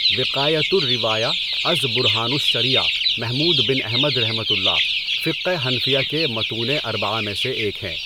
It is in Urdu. وِقایۃُ الرِّوایہ از بُرہانُ الشَّریعہ محمود بن احمدؒ، فقہ حنفیہ کے متونِ اربعہ میں سے ایک ہے۔